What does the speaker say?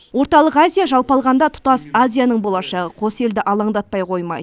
орталық азия жалпы алғанда тұтас азияның болашағы қос елді алаңдатпай қоймайды